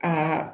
Aa